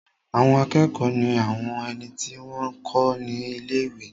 Àwọn akẹ́kọ̀ọ́ ní àwọn ẹni tí wọ́n n kọ́ ní ilé-ìwé